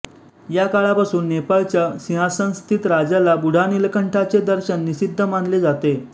या काळापासून नेपाळच्या सिंहासनस्थित राजाला बूढानीलकंठाचे दर्शन निषिद्ध मानले जाते